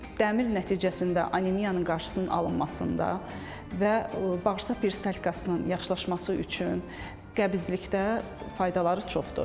Dəmir nəticəsində anemiyanın qarşısının alınmasında və bağırsaq peristaltikasının yaxşılaşması üçün qəbizlikdə faydaları çoxdur.